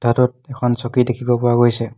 কোঠাটোত এখন চকী দেখিব পোৱা গৈছে।